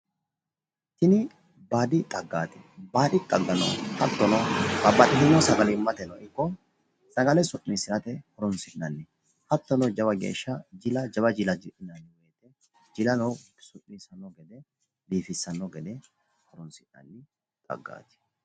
Tini baadi xaggaati . Baadi xaggano Hattono babbaxxitino sagalimmate ikko sagale su'niissirate hironsi'nanni hattono jila jawa jila ji'la jilano su'niissitanno biifissanno gede horonsi'nanni xaggaati.